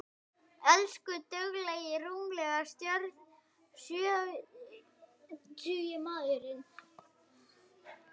Elsku duglegi rúmlega sjötugi maður.